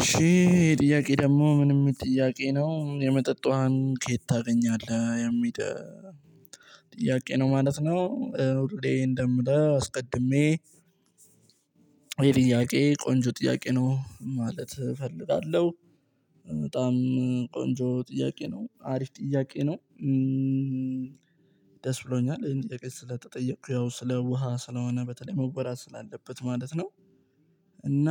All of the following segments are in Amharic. እሺ ጥያቄ ደግሞ ምንም የሚል ጥያቄ ነው የመጠጥ ውሃን ከየት ታገኛለህ የሚል ጥያቄ ነው ማለት ነው? ኦርዲዴ እንደምለው አስቀድሜ ይሄ ጥያቄ ቆንጆ ጥያቄ ነው ማለት እፈልጋለሁ። በጣም ቆንጆ ጥያቄ ነው አሪፍ ጥያቄ ነው። ደስ ብሎኛል ይሄን ጥያቄ ስለተጠየቁ ያው ስለ ውሃ ስለሆነ በተለይ መወራት ስላለበት ማለት ነው። እና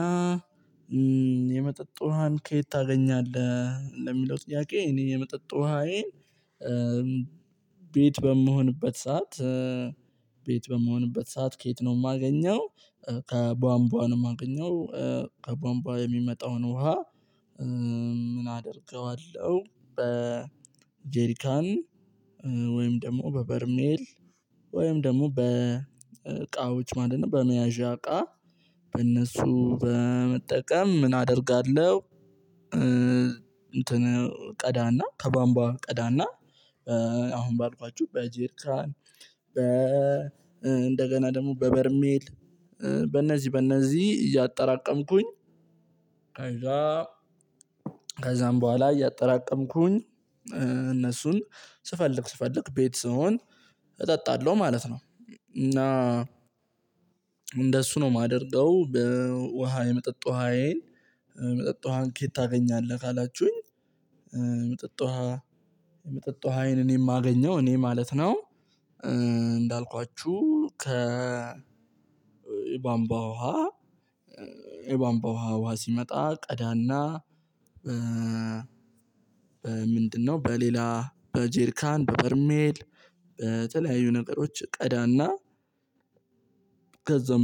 የመጠጥ ውሃን ከየት ታገኛለህ እንደሚለው ጥያቄ እኔ የምጥጥ ውሃዬን። ቤት በምሆንበት ሰዓት ቤት በመሆንበት ሰዓት ከየት ነው የማገኘው? ከቧንቧ ነው ማገኘው ከባንባ የሚመጣውን ውሃ። ምን አደርገዋለሁ በ ጄሪካን ወይም ደግሞ በበርሜል ወይም ደግሞ በቃውች ማለት ነው በመያዣ እቃ በእነሱ በመጠቀም ምን አደርጋለሁ? እንትን ቀዳና ከባምባ ቀዳና አሁን ባልኳችሁ በጅራን በ እንደገና ደግሞ በበርሜል በእነዚህ በእነዚህ እያጠራቀምኩኝ። ከዛም በኋላ እያጠራቀምኩኝ እነሱን ስፈልግ ስፈልግ ቤት ስሆን እጠጣለሁ ማለት ነው። እና እንደሱ ነው የማደርገው በውሃ የመጠጥ ውሃዬን የመጠጥ ውሃን ኬት ታገኛለህ ካላችሁኝ? ምጥጥ ውሃ ምጥጥ ውሃዬን እኔ የማገኘው እኔ ማለት ነው። እንዳልኳችሁ ከባንባ ውሃ የባንባ ውሃ ውሃ ሲመጣ ቀዳና። በ ምንድነው በሌላ በጄርካን በበርሜል በተለያዩ ነገሮች ቀዳና።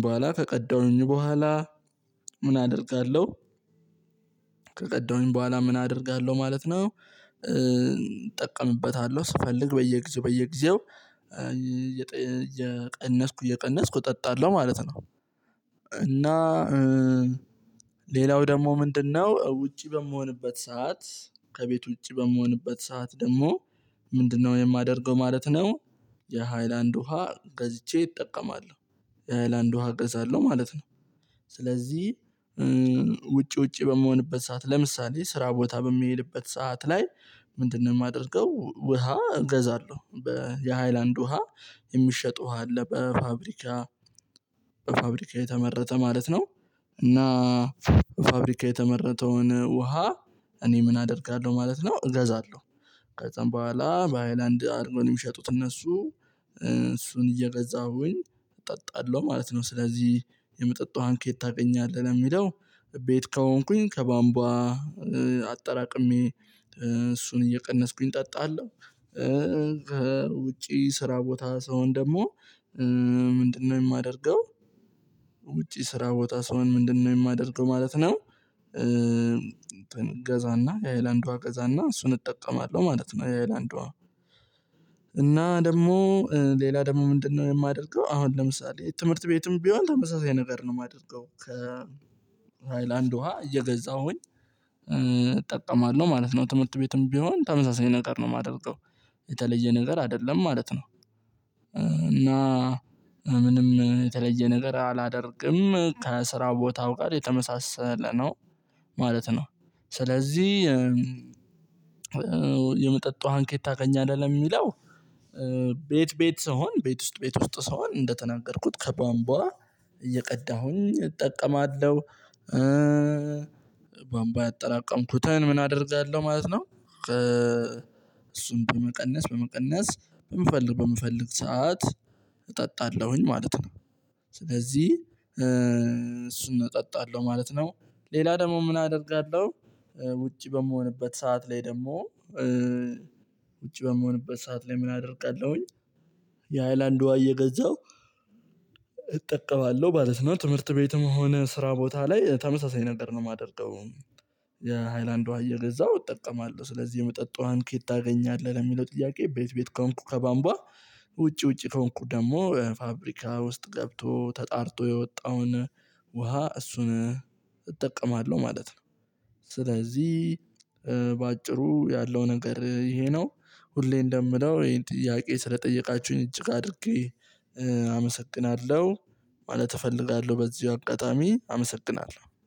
በኋላ ከቀዳሁኝ በኋላ ምን አደርጋለሁ? ከቀደሁኝ በኋላ ምን አደርጋለሁ ማለት ነው። እጠቀሙበታለሁ ስፈልግ በየጊዜው በየጊዜው እየቀነስኩ እየቀነስኩ እጠጣለሁ ማለት ነው። እና ሌላው ደግሞ ምንድነው ውጪ በምሆንበት ሰዓት ከቤት ውጪ በምሆንበት ሰዓት ደግሞ ምንድነው የማደርገው ማለት ነው። የሃይላንድ ውሃ ገዝቼ እጠቀማለሁ የሃይላንድ ውሃ እገዛለሁ ማለት ነው። ስለዚህ ውጪ ውጪ በምሆንበት ሰዓት ለምሳሌ ስራ ቦታ በሚሄድበት ሰዓት ላይ። ምንድነው የማደርገው ውሃ እገዛለሁ በየሃይላንድ ውሃ የሚሸጡ ውሃ አለ በፋብሪካ በፋብሪካ የተመረጠ ማለት ነው። እና ፋብሪካ የተመረጠውን ውሃ እኔ ምን አደርጋለሁ ማለት ነው እገዛለሁ። በጣም በኋላ በአይላንድ አድርጎ ነው የሚሸጡት እነሱ እሱን እየገዛሁኝ እጠጣለሁ ማለት ነው ስለዚህ የምጠጣውን ከየት ታውቀኛለህ የሚለው ቤት ከሆንኩኝ ከባምባ አጠራቅሜ እሱን እየቀነስኩኝ እጠጣለሁ። ከውጪ ስራ ቦታ ስሆን ደግሞ ምንድነው የማደርገው? ውጪ ስራ ወጣ ስሆን ምንድነው የማደርገው ማለት ነው። ገዛና የሀይላንዷ ገዛና እሱን እጠቀማለሁ ማለት ነው የሀይላንድ ውሃ። እና ደግሞ ሌላ ደግሞ ምንድነው የማደርገው አሁን ለምሳሌ ትምህርት ቤትም ቢሆን ተመሳሳይ ነገር ነው የማደርገው ከ ሃይላንድ ውሃ እየገዛሁኝ። ማለት ነው ትምህርት ቤትም ቢሆን ተመሳሳይ ነገር ነው የማደርገው የተለየ ነገር አይደለም ማለት ነው። እና ምንም የተለየ ነገር አላደርግም ከስራ ቦታው ጋር የተመሳሰለ ነው ማለት ነው። ስለዚህ የመጠጥ ውሃን ከየት ታገኛለህ የሚለው። ቤት ስሆን ቤት ውስጥ ቤት ውስጥ ስሆን እንደተናገርኩት ከባምቧ እየቀዳሁኝ እጠቀማለሁ። ቧንቧ ያጠራቀምኩትን ምን አደርጋለሁ ማለት ነው እሱን በመቀነስ በመቀነስ በምፈልግ በምፈልግ ሰዓት እጠጣለሁኝ ማለት ነው። ስለዚህ እሱን እጠጣለሁ ማለት ነው። ሌላ ደግሞ ምን አደርጋለሁ? ውጭ በምሆንበት ሰዓት ላይ ደግሞ ውጭ በምሆንበት ሰዓት ላይ ምን አደርጋለሁኝ? የሃይላንድ ዋይ የገዛው እጠቀማለሁ ማለት ነው ትምህርት ቤትም ሆነ ስራ ቦታ ላይ ተመሳሳይ ነገር ነው የማደርገው። የሃይላንድ አየር እዛው እጠቀማለሁ ስለዚህ የመጠጣዋን ኬት ታገኛለህ ለሚለው ጥያቄ? ቤት ቤት ከሆንኩ ከባምቧ ውጪ ውጪ ከሆንኩ ደግሞ ፋብሪካ ውስጥ ገብቶ ተጣርቶ የወጣውን ውሃ እሱን እጠቀማለሁ ማለት ነው። ስለዚህ ያለው ነገር ይሄ ነው። ሁሌ እንደምለው ይሄ ጥያቄ ስለጠየቃችሁኝ እጅግ አድርጌ አመሰግናለሁ ማለት እፈልጋለሁ በዚሁ አጋጣሚ አመሰግናለሁ